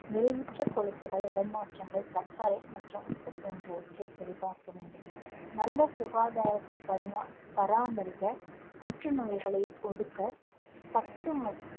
நிறைவுற்ற கொழுப்புகள் இடமாற்றங்கள் சர்க்கரை மற்றும் உப்பு போன்றவற்றை சரிபார்க்க வேண்டும். நல்ல சுகாதாரத்தை பரிமா~ பராமரிக்க தொற்று நோய்களை ஒடுக்க